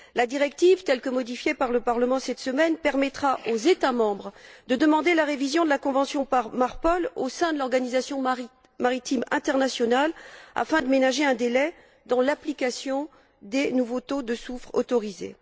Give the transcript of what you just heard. La directive telle que modifiée par le Parlement cette semaine permettra aux États membres de demander la révision de la convention Marpol au sein de l'Organisation maritime internationale afin de ménager un délai dans l'application des nouveaux taux de soufre autorisés.